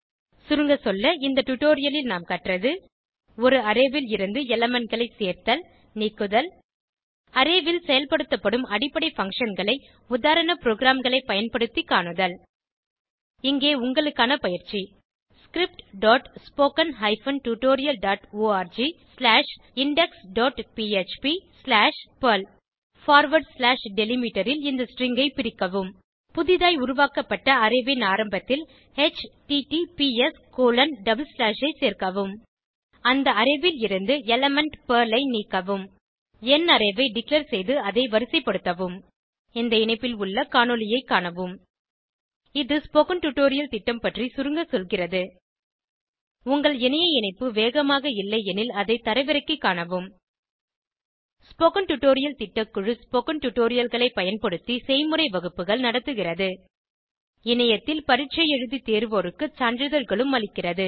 சுருங்கசொல்ல இந்த டுடோரியலில் நாம் கற்றது ஒரு அரே ல் இருந்து elementகளை சேர்த்தல்நீக்குதல் அரே ல் செயல்படுத்தப்படும் அடிப்படை functionகளை உதாரண ப்ரோகிராம்களை பயன்படுத்தி காணுதல் இங்கே உங்களுக்கான பயிற்சி scriptspoken tutorialorgindexphpபெர்ல் டெலிமிட்டர் ல் இந்த ஸ்ட்ரிங் ஐ பிரிக்கவும் புதிதாய் உருவாக்கப்பட்ட அரே ன் ஆரம்பத்தில் https ஐ சேர்க்கவும் அந்த அரே ல் இருந்து எலிமெண்ட் பெர்ல் ஐ நீக்கவும் எண் அரே ஐ டிக்ளேர் செய்து அதை வரிசைப்படுத்தவும் இந்த இணைப்பில் உள்ள காணொளியைக் காணவும் இது ஸ்போகன் டுடோரியல் திட்டம் பற்றி சுருங்க சொல்கிறது உங்கள் இணைய இணைப்பு வேகமாக இல்லையெனில் அதை தரவிறக்கிக் காணவும் ஸ்போகன் டுடோரியல் திட்டக்குழு ஸ்போகன் டுடோரியல்களைப் பயன்படுத்தி செய்முறை வகுப்புகள் நடத்துகிறது இணையத்தில் பரீட்சை எழுதி தேர்வோருக்கு சான்றிதழ்களும் அளிக்கிறது